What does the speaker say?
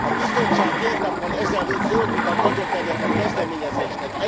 A Bizottság két nappal ezelőtt zöld utat adott ennek a kezdeményezésnek.